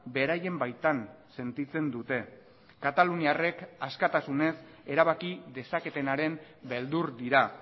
beraien baitan sentitzen dute kataluniarrek askatasunez erabaki dezaketenaren beldur dira